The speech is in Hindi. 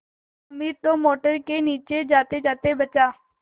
हामिद तो मोटर के नीचे जातेजाते बचा